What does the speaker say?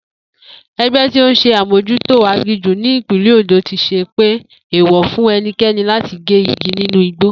E̩gbé̩ tíí s̩e amójútó aginjù ní ìpínlè̩ Òndó ti pèé ní èèwò̩ fún e̩niké̩ni láti gé igi nínú igbó